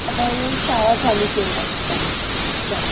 हळू शाळा चालू केल्या होत्या त्या